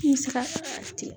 I be se ka ten.